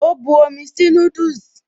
O bu omi sí núdùsì